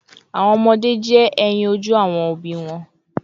Awọn ọmọde jẹ eyin oju awọn obi wọn